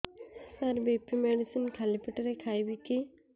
ସାର BP medicine ଖାଲି ପେଟରେ ଖାଇବି କି